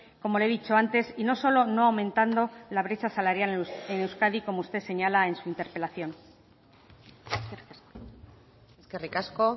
como le he dicho antes y no solo no aumentando la brecha salarial en euskadi como usted señala en su interpelación eskerrik asko